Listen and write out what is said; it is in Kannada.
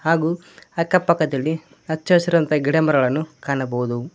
ಹಾಗು ಅಕ್ಕ ಪಕ್ಕದಲ್ಲಿ ಹಚ್ಚ ಹಸಿರು ಅಂತ ಗಿಡಮರಗಳನ್ನು ಕಾಣಬಹುದು.